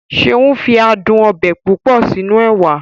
Seun fi adùn ọbẹ̀ púpọ̀ sínú ẹwà